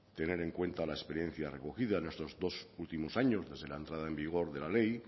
tener en cuenta la experiencia recogida en estos dos últimos años desde la entrada en vigor de la ley